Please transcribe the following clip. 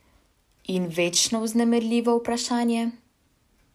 In večno vznemirljivo vprašanje?